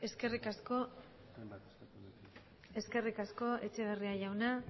eskerrik asko etxeberria jauna